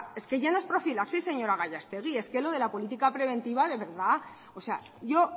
es que ya no es profilaxis señora gallastegui es que lo de la política preventiva de verdad o sea yo